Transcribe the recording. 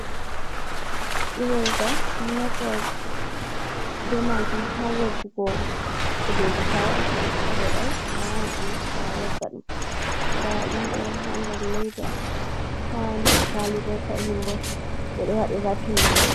I'reza ɓeɗo naftira be majum ha woggugo kujeji ta awaɗi kujeji vodai, a wawan a naftira awogga ɗum, nda ɗum ɗo ha ndar leida ha nder kwali bo fahinbo ɓeɗo waɗi rapin majum.